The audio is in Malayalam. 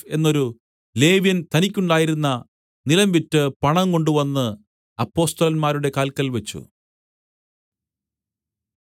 എന്നൊരു ലേവ്യൻ തനിക്കുണ്ടായിരുന്ന നിലം വിറ്റ് പണം കൊണ്ടുവന്ന് അപ്പൊസ്തലന്മാരുടെ കാൽക്കൽ വെച്ച്